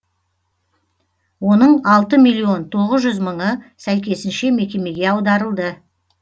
оның алты миллион тоғыз жүз мыңы сәйкесінше мекемеге аударылды